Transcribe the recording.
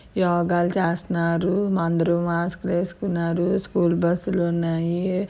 యోగ లు చేస్తున్నారు అందరు. మాస్క్ లు వేసుకున్నారు. స్కూల్ బస్సు లు ఉన్నాయి